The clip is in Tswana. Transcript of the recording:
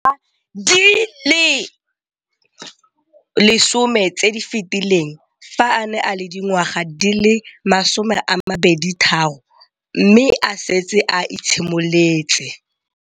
Dingwaga di le 10 tse di fetileng, fa a ne a le dingwaga di le 23 mme a setse a itshimoletse